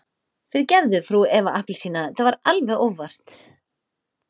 Fyrirgefðu frú Eva appelsína, þetta var alveg óvart.